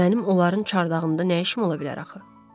Mənim onların çardağında nə işim ola bilər axı?